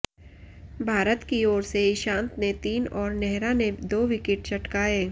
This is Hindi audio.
भारत की ओर से ईशांत ने तीन और नेहरा ने दो विकेट चटकाए